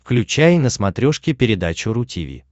включай на смотрешке передачу ру ти ви